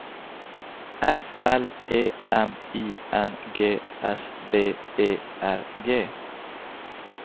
F L E M I N G S B E R G